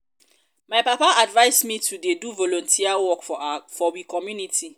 my papa advice um me to dey do volunteer um work for we community.